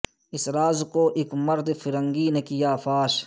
اس راز کو اک مرد فرنگی نے کیا فاش